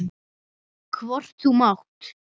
Hvort þú mátt.